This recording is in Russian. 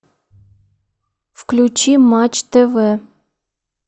включи матч тв